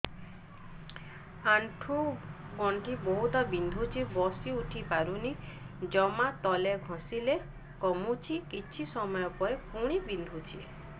ଆଣ୍ଠୁଗଣ୍ଠି ବହୁତ ବିନ୍ଧୁଛି ବସିଉଠି ପାରୁନି ଜମା ତେଲ ଘଷିଲେ କମୁଛି କିଛି ସମୟ ପରେ ପୁଣି ବିନ୍ଧୁଛି